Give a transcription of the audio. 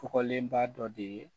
Kɔgɔlenba dɔ de ye